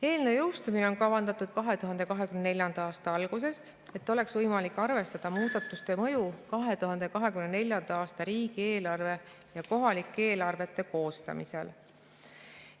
Eelnõu jõustumine on kavandatud 2024. aasta algusesse, et oleks võimalik arvestada muudatuste mõju 2024. aasta riigieelarve ja kohalike eelarvete koostamisel.